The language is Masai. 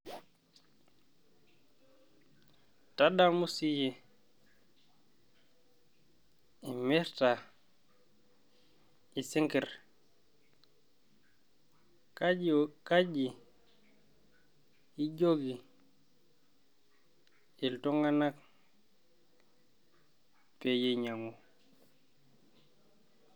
Tadamu siiyie imirta isinkirr, kaji ijoki iltunganak peyie einyangu